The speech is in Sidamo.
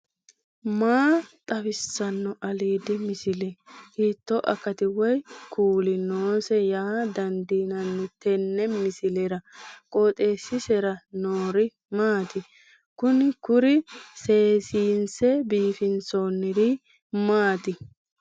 maa xawissanno aliidi misile ? hiitto akati woy kuuli noose yaa dandiinanni tenne misilera? qooxeessisera noori maati? kuni kuri seesinse biifinsoonniri maati